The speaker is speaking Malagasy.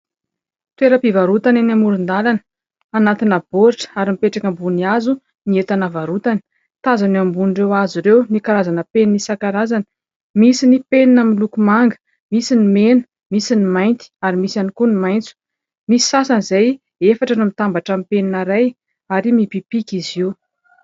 Toeram-pivarotana eny amoron-dàlana. Anatina baoritra, ary mipetraka ambony hazo ny entana varotany. Tazana eo ambonin'ireo hazo ireo ny karazana penina isankarazany. Misy ny penina amin' ny loko manga, misy ny mena, misy ny mainty, ary misy ihany koa ny maitso. Misy sasany izay efatra no mitambatra amin'ny penina iray, ary mipipika izy io.